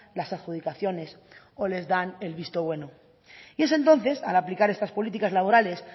las adjudicaciones o les dan el visto bueno y es entonces al aplicar estas políticas laborales